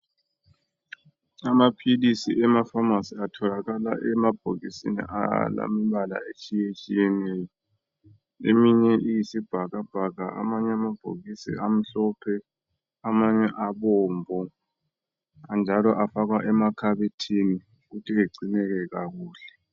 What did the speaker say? Amaphilisi emafamasi atholakala emabhokisini alembala etshiyetshiyeneyo eminye ilemibala eyisibhakabhaka amanye amabhokisi amhlophe maybe abomvu njalo afakwa emakhabothini ukuthi egcineke kuhle